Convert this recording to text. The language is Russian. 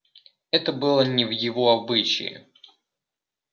это было не в его обычае